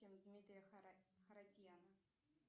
дмитрия харатьяна